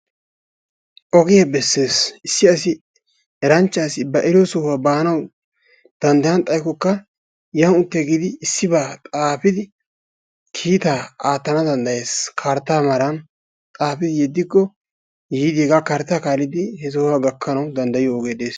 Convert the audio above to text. Ogee beessees. issi asi eranchcha asi ba eriyo sohuwa baanawu danddayyana xaykkokka yaan uttigidi issibaa xaafidi kiitta aatana danddayees. karttaa maaran xaafidi yedikko, yiidi hegaa karttaa kaallidi he sohuwaa gakkanawu danddayiyo ogee dees.